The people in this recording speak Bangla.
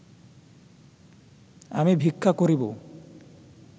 আমি ভিক্ষা করিব